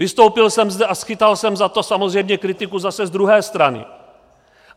Vystoupil jsem zde a schytal jsem za to samozřejmě kritiku zase z druhé strany.